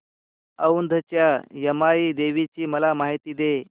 औंधच्या यमाई देवीची मला माहिती दे